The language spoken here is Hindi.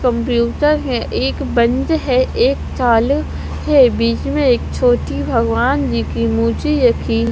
कंप्यूटर है एक बंद है एक चालु है बीच में एक छोटी भगवान जी की मूर्ति रखी--